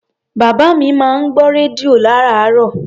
Bàbá mi máa ń gbọ́ rédíò lárààárọ̀.